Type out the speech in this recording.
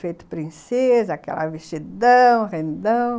Feita princesa, aquele vestidão, rendão.